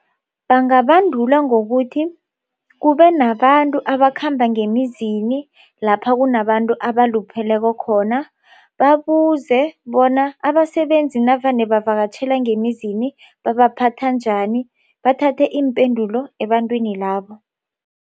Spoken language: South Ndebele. Bangabandulwa ngokuthi kube nabantu abakhamba ngemizini lapha kunabantu abalupheleko khona babuze bona abasebenzi navane bavakatjhela ngemizini babaphatha njani bathathe iimpendulo ebantwini labo.